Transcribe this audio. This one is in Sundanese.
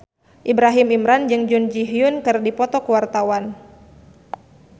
Ibrahim Imran jeung Jun Ji Hyun keur dipoto ku wartawan